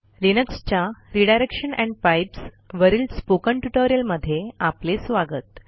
लिनक्सच्या redirection and pipes वरील spoken ट्युटोरियलमध्ये आपले स्वागत